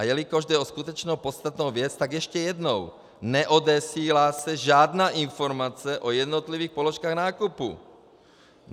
A jelikož jde skutečně o podstatnou věc, tak ještě jednou: neodesílá se žádná informace o jednotlivých položkách nákupu.